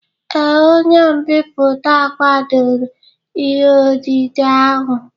Ee, onye mbipụta kwadoro ihe odide ahụ